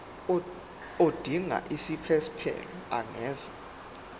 odinga isiphesphelo angenza